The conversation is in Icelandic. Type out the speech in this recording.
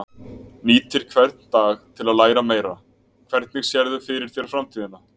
Nýtir hvern dag til að læra meira Hvernig sérðu fyrir þér framtíðina?